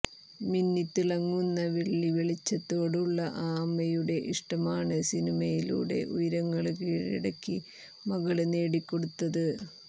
മിന്നിത്തിളങ്ങുന്ന വെള്ളിവെളിച്ചത്തോടുള്ള ആ അമ്മയുടെ ഇഷ്ടമാണ് സിനിമയിലൂടെ ഉയരങ്ങള് കീഴടക്കി മകള് നേടിക്കൊടുത്തത്